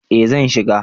eh zan shiga